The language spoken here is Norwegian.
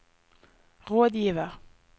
rådgiver